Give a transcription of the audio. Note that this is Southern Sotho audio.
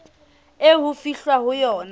eo ho fihlwang ho yona